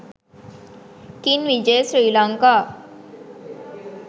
king vijaya srilanaka